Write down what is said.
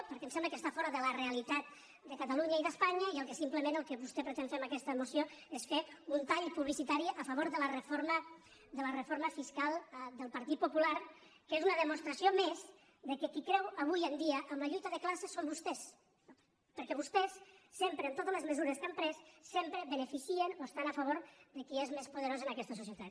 perquè ens sembla que està fora de la realitat de catalunya i d’espanya i el que simplement vostè pretén fer amb aquesta moció és fer un tall publicitari a favor de la reforma fiscal del partit popular que és una demostració més que qui creu avui en dia en la lluita de classes són vostès perquè vostès sempre en totes les mesures que han pres sempre beneficien o estan a favor de qui és més poderós en aquesta societat